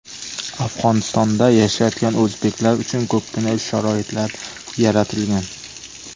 Afg‘onistonda yashayotgan o‘zbeklar uchun ko‘pgina sharoitlar yaratilgan.